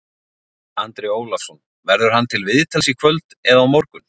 Andri Ólafsson: Verður hann til viðtals í kvöld eða á morgun?